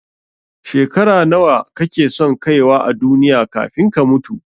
Shekara nawa kake son kaiwa a duniya kafin ka mutu?